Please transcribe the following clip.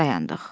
Dayandıq.